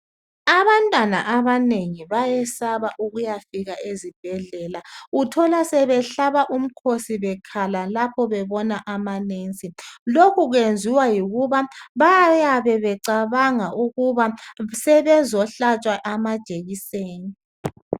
Abantwana abanengi bayesaba ukuyafika ezibhedlela uthola sebehlaba umkhosi bekhala lapho bebona ama"nurse " lokhu kwenziwa yikuba bayabe becabanga ukuba sebezohlatshwa amajekiseni.